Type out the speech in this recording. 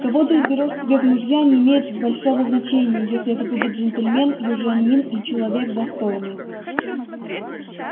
кого ты изберёшь себе в мужья не имеет большого значения если это будет джентльмен южанин и человек достойный